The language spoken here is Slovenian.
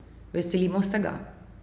Veselimo se ga!